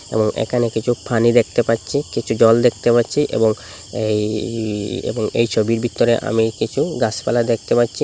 এবং একানে কিছু ফানি দেখতে পাচ্ছি কিছু জল দেখতে পাচ্ছি এবং এই এই ছবির ভিতরে আমি কিছু গাসপালা দেখতে পাচ্চি।